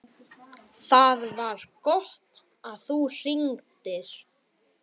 ÞAÐ VAR GOTT AÐ ÞÚ HRINGDIR.